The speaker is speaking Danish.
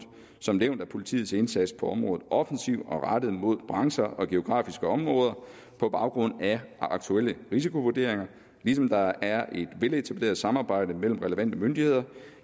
som nævnt er politiets indsats på området offensiv og rettet mod brancher og geografiske områder på baggrund af aktuelle risikovurderinger ligesom der er et veletableret samarbejde mellem de relevante myndigheder